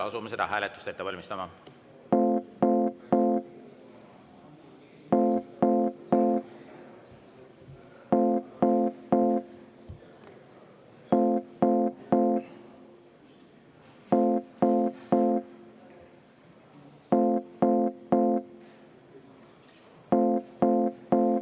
Asume seda hääletust ette valmistama.